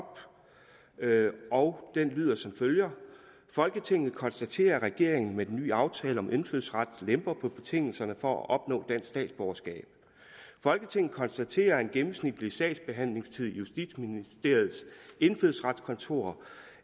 og det lyder som følger folketinget konstaterer at regeringen med den nye aftale om indfødsret lemper på betingelserne for at opnå statsborgerskab folketinget konstaterer at en gennemsnitlig sagsbehandlingstid i justitsministeriets indfødsretskontor